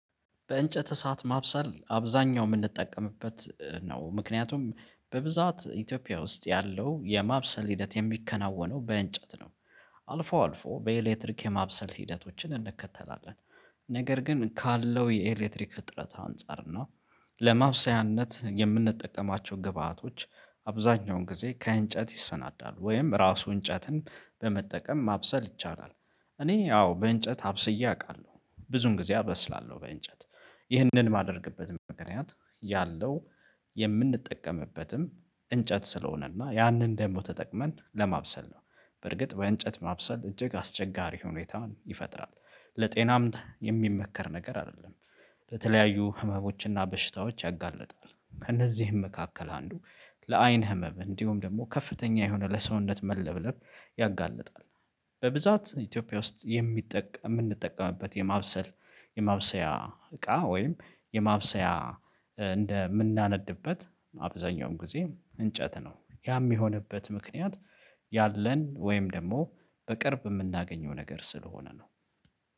በእንጨት እሳት ማብሰል አብዛኛው የምንጠቀምበት ነው፤ ምክንያቱም በብዛት ኢትዮጵያ ውስጥ ያለው የማብሰል ሂደት የሚከናወነው በእንጨት ነው። አልፎ አልፎ በኤሌክትሪክ የማብሰል ሂደቶችን እንከተላለን፤ ነገር ግን ካለው የኤሌክትሪክ እጥረት አንፃር ነው። ለማብሰያነት የምንጠቀማቸው ግብአቶች አብዛኛውን ጊዜ ከእንጨት ይሰናዳሉ ወይም ራሱን እንጨትን በመጠቀም ማብሰል ይቻላል። እኔ ያው በእንጨት አብስዬ አውቃለሁ ብዙን ጊዜ አበስላለሁ በእንጨት። ይህንን የማደርግበትም ምክንያት ያለው የምንጠቀምበትም እንጨት ስለሆነና ያንን ደግሞ ተጠቅመን ለማብሰል ነው። በርግጥ በእንጨት ማብሰል እጅግ አስቸጋሪ ሁኔታን ይፈጥራል። ለጤናም የሚመከር ነገር አይደለም። ለተለያዩ ህመሞችና በሽታዎች ያጋልጣል ከእነዚህም መካከል አንዱ ለአይን ህመም እንዲሁም ደግሞ ከፍተኛ የሆነ ለሰውነት መለብለብ ያጋልጣል። በብዛት ኢትዮጵያ ውስጥ የሚጠቀም የምንጠቀምበት የማብሰል የማብሰያ እቃ ወይም የማብሰያ እንደምናነድበት አብዛኛውም ጊዜ እንጨት ነው ያ የሚሆንበት ምክንያት ያለን ወይም ደግሞ በቅርብ የምናገኘው ነገር ስለሆነ ነው።